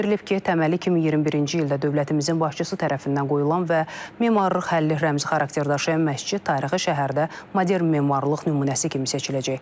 Bildirilib ki, təməli 2021-ci ildə dövlətimizin başçısı tərəfindən qoyulan və memarlıq həlli rəmzi xarakter daşıyan məscid tarixi şəhərdə modern memarlıq nümunəsi kimi seçiləcək.